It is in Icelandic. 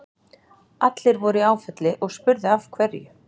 Allir voru í áfalli og spurðu af hverju.